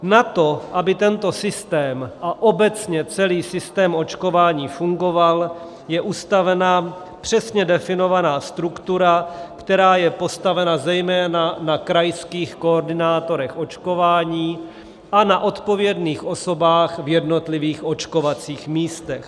Na to, aby tento systém a obecně celý systém očkování fungoval, je ustavena přesně definovaná struktura, která je postavena zejména na krajských koordinátorech očkování a na odpovědných osobách v jednotlivých očkovacích místech.